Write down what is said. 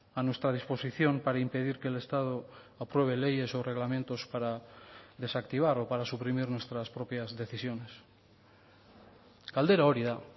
a nuestra disposición para impedir que el estado apruebe leyes o reglamentos para desactivar o para suprimir nuestras propias decisiones galdera hori da